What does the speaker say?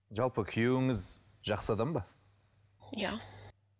жалпы күйеуіңіз жақсы адам ба иә